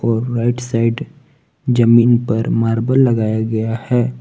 और right side जमीन पर मार्बल लगाया गया है।